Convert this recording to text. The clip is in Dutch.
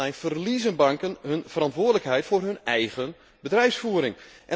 In de nieuwe richtlijn verliezen banken hun verantwoordelijkheid voor hun eigen bedrijfsvoering.